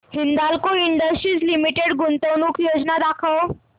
Hindalco industries limited गुंतवणूक योजना दाखव